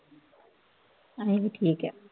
ਅਸੀਂ ਵੀ ਠੀਕ ਹੈ